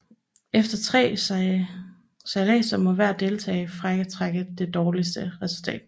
Efter tre sejladser må hver deltager fratrække det dårligste resultat